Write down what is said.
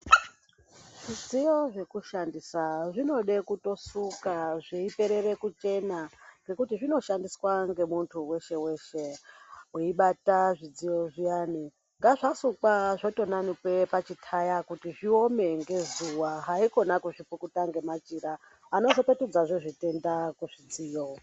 Zvidziyo zvekushandisa zvinode kutosuka zveiperere kuchena, ngekuti zvinoshandiswa ngemunthu weshe-weshe. Weibata zvidziyo zviyani zvasukwa zvotonanikwa pazvithaya, kuti zviome ngezuwa, haikona kupukuta ngemachira anopetudzazve zvitenda kuzvidziyo.